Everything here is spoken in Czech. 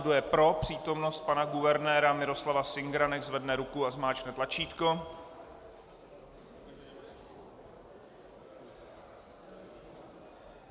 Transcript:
Kdo je pro přítomnost pana guvernéra Miroslava Singera, nechť zvedne ruku a zmáčkne tlačítko.